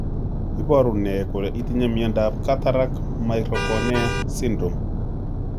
Iporu ne kole itinye miondap Cataract microcornea syndrome?